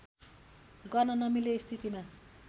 गर्न नमिल्ने स्थितिमा